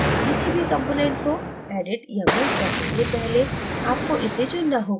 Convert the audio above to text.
किसी भी component को edit या move करने से पहले आपको इसे चुनना होगा